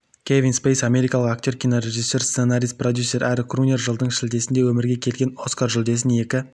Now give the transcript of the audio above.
кевин спейси америкалық актер кинорежиссер сценарист продюсер әрі крунер жылдың шілдесінде өмірге келген оскар жүлдесін екі